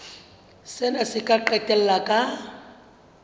sena se ka qetella ka